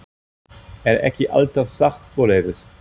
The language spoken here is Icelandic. Er ekki alltaf sagt svoleiðis?